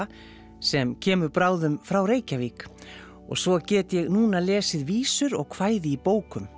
sem kemur bráðum frá Reykjavík og svo get ég núna lesið vísur og kvæði í bókum